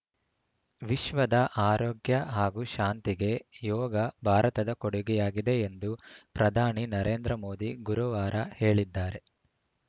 ವಿಶ್ವದ ಆರೋಗ್ಯ ಹಾಗೂ ಶಾಂತಿಗೆ ಯೋಗ ಭಾರತದ ಕೊಡುಗೆಯಾಗಿದೆ ಎಂದು ಪ್ರಧಾನಿ ನರೇಂದ್ರ ಮೋದಿ ಗುರುವಾರ ಹೇಳಿದ್ದಾರೆ